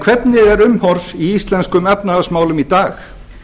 hvernig er umhorfs í íslenskum efnahagsmálum í dag